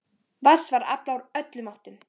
Vatns var aflað úr öllum áttum.